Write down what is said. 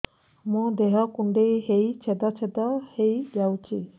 ମୋ ଦେହ କୁଣ୍ଡେଇ ହେଇ ଛେଦ ଛେଦ ହେଇ ଯାଉଛି